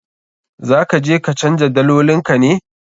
Za ka je ka canja dalolin ka ne?